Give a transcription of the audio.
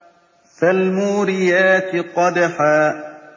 فَالْمُورِيَاتِ قَدْحًا